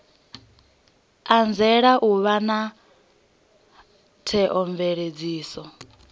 anzela u vha na theomveledziso